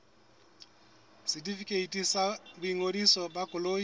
setefikeiti sa boingodiso ba koloi